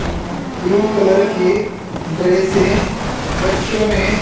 blue colour की dresses बच्चों ने--